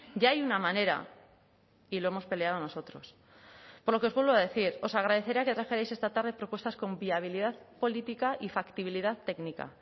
ya hay una manera y lo hemos peleado nosotros por lo que os vuelvo a decir os agradecería que trajerais esta tarde propuestas con viabilidad política y factibilidad técnica